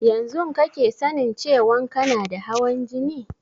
Yanzun kake sanin cewan kana da hawan jini?